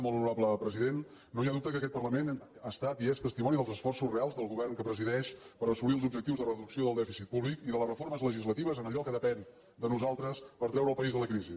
molt honorable president no hi ha dubte que aquest parlament ha estat i és testimoni dels esforços reals del govern que presideix per assolir els objectius de reducció del dèficit públic i de les reformes legislatives en allò que depèn de nosaltres per treure el país de la crisi